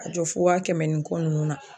A jɔ fo wa kɛmɛ ni kɔ nunnu na